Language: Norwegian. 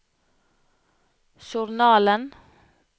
journalen